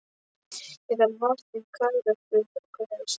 Ég þarf vatn í karöflu og glas.